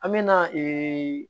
An me na ee